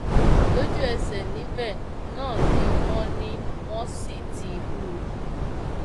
lójúẹsẹ níbẹ náà ni wọn ni wọn sì ti hù ú